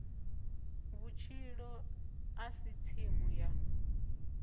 vhutshilo a si tsimu ya